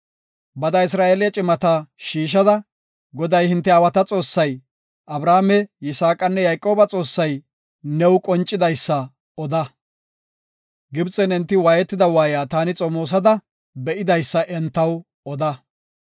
“Bada Isra7eele cimata shiishada, Goday hinte aawata Xoossay, Abrahaame, Yisaaqanne Yayqooba Xoossay new qoncidaysa oda. Gibxen enti waayetiya waayiya taani xomoosada be7idaysa entaw oda.